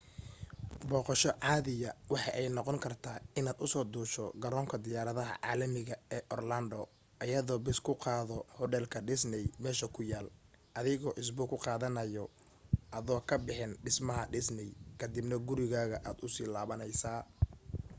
booqosho caadiya waxa ay noqon kartaa inaad usoo duusho garoonka diyaaradaha caalamiga ee orlando ayadoo bas kuu qaado hudheelka disney meesha ku yaal adigoo isbuuc ku qaadanaaya adoo ka bixin dhismaha disney kadibna gurigaaga aad u laabaneysa